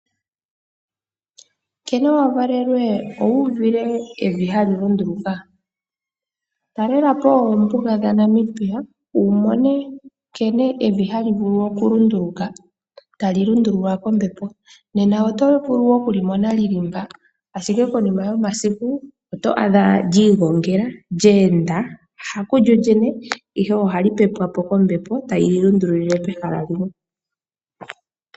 Kene wavalelwe owu uvile evi hali lunduluka? Talelapo oombuga dhaNamibia wumone nkene evi hali vulu okulunduluka tali lundululwa kombepo nena oto vulu wo okulimona li li mpa ashike konima yomasiku oto adha lyi igongela, lyeenda ha kulyo lyene ihe ohali pepwa po kombepo tali lilundululile pehala limwe.